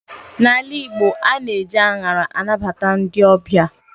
N'ala Igbo, ana eji anyara anabata ndị ọbịa